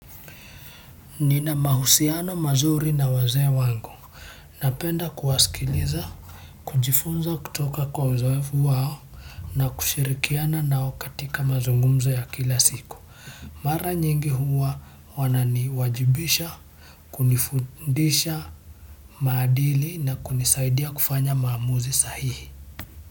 Nina mahusiano mazuri na wazee wangu. Napenda kuwasikiliza. Kujifunza kutoka kwa uzoefu wao na kushirikiana nao katika mazungumzo ya kila siku. Mara nyingi huwa wanani wajibisha. Kunifundisha maadili na kunisaidia kufanya maamuzi sahihi. Muziki.